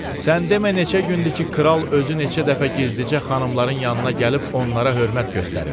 Sən demə neçə gündür ki, kral özü neçə dəfə gizlicə xanımların yanına gəlib onlara hörmət göstərib.